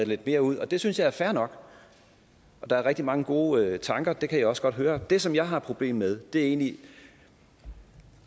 lidt mere ud det synes jeg er fair nok der er rigtig mange gode tanker det kan jeg også godt høre det som jeg har problemer med er egentlig